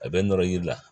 A bɛ nɔnɔ yiri la